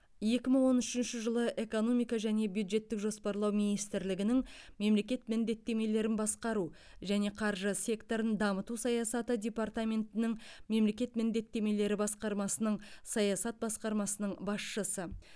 екі мың он үшінші жылы экономика және бюджеттік жоспарлау министрлігінің мемлекет міндеттемелерін басқару және қаржы секторын дамыту саясаты департаментінің мемлекет міндеттемелері басқармасының саясат басқармасының басшысы